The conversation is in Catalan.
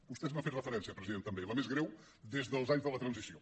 vostè n’ha fet referència president també la més greu des dels anys de la transició